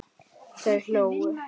Þau hlógu.